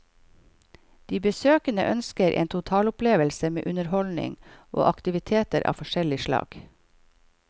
De besøkende ønsker en totalopplevelse med underholdning og aktiviteter av forskjellig slag.